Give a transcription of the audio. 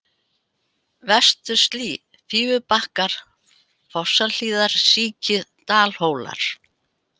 Vestur-Slý, Fífubakkar, Fossahlíðarsíki, Dalhólar